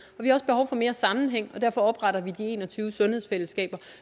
vi har også behov for mere sammenhæng og derfor opretter vi de en og tyve sundhedsfællesskaber